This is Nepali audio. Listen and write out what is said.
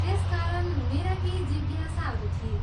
त्यसकारण मेरा केही जिज्ञासाहरू थिए।